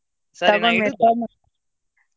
ಸರಿ ನಾ.